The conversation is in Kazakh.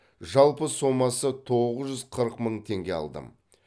жалпы сомасы тоғыз жүз қырық мың теңге алдым